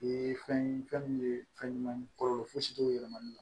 Fɛn ye fɛn min ye fɛn ɲuman ye kɔlɔlɔ fosi t'o yɛlɛmali la